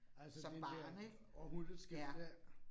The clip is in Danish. Altså den der århundredeskifte